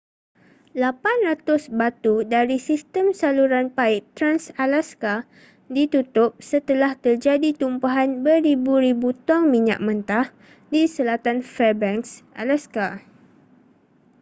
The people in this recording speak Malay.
800 batu dari sistem saluran paip trans-alaska ditutup setelah terjadi tumpahan beribu-ribu tong minyak mentah di selatan fairbanks alaska